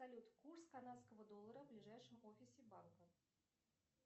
салют курс канадского доллара в ближайшем офисе банка